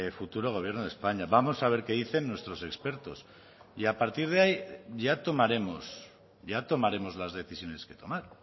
futuro gobierno de españa vamos a ver qué dicen nuestros expertos y a partir de ahí ya tomaremos ya tomaremos las decisiones que tomar